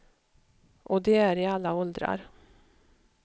Och de är i alla åldrar.